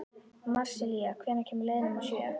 Marsilía, hvenær kemur leið númer sjö?